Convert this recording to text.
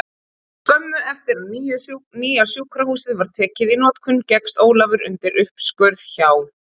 Skömmu eftir að nýja sjúkrahúsið var tekið í notkun gekkst Ólafur undir uppskurð hjá